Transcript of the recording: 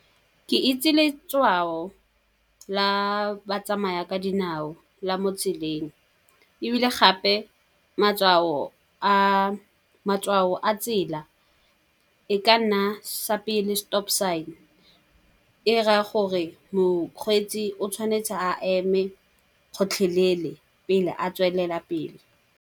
Ke itse letshwao la batsamaya ka dinao la mo tseleng. Ebile gape matshwao a tsela e ka nna sa pele stop sign, e raya gore mokgweetsi o tshwanetse a eme gotlhelele pele a tswelela pele.